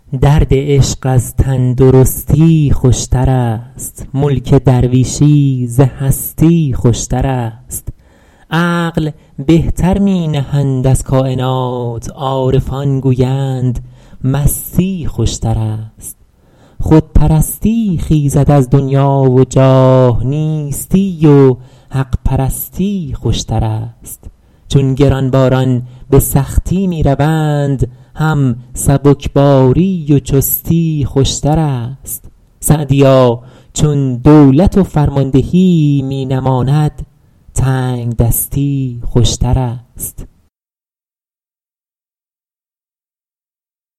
درد عشق از تندرستی خوشتر است ملک درویشی ز هستی خوشتر است عقل بهتر می نهند از کاینات عارفان گویند مستی خوشتر است خودپرستی خیزد از دنیا و جاه نیستی و حق پرستی خوشتر است چون گرانباران به سختی می روند هم سبکباری و چستی خوشتر است سعدیا چون دولت و فرماندهی می نماند تنگدستی خوشتر است